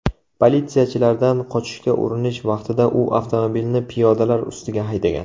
Politsiyachilardan qochishga urinish vaqtida u avtomobilni piyodalar ustiga haydagan.